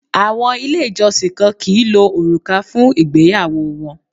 Àwọn Ilé ìjọsìn kan kìí lo òrùka fún ìgbéyàwó wọn